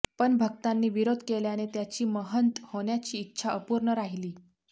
पण भक्तांनी विरोध केल्याने त्याची महंत होण्याची इच्छा अपूर्ण राहीली